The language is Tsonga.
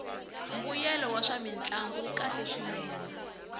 mbuyelo wa swamintlangu wu kahle swinene